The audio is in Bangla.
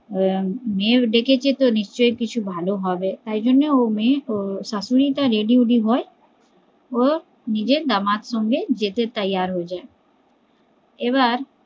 মেয়ে ডেকেছে তো নিশ্চয়ই তো কিছু ভালো হবেই তাই জন্যই মেয়ে শাশুড়ি ready হয়ে নিজের জামাই আর সঙ্গে যেতে তৈয়ার হয়ে যায় এবার